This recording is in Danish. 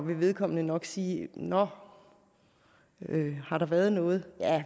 vil vedkommende nok sige nå har der været noget